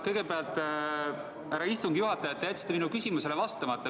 Kõigepealt, härra istungi juhataja, te jätsite minu küsimusele vastamata.